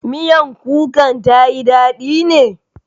Miyan kukan ta yi daɗi ne?